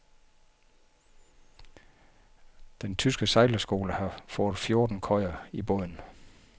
Den tyske sejlerskole har fået fjorten køjer i båden.